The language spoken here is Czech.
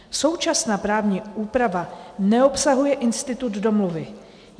Současná právní úprava neobsahuje institut domluvy.